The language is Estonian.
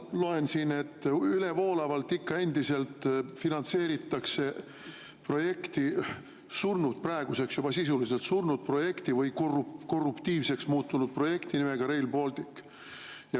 Ma loen siin, et ikka endiselt finantseeritakse ülevoolavalt projekti, praeguseks juba sisuliselt surnud projekti või korruptiivseks muutunud projekti nimega Rail Baltic.